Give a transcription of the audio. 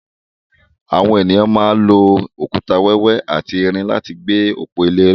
Àwọn ènìyàn máa ń lò òkúta wẹ́wẹ́ àti irin láti fi gbé òpó ile ró.